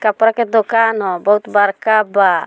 कपड़ा के दोकान हअ बहुत बड़का बा।